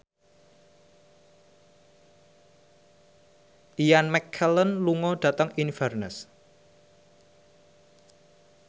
Ian McKellen lunga dhateng Inverness